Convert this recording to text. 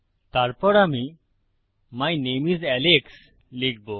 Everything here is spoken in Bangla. তারপর আমি মাই নামে আইএস আলেক্স লিখবো